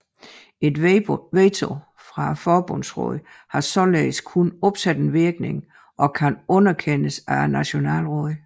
Et veto fra Forbundsrådet har således kun opsættende virkning og kan underkendes af Nationalrådet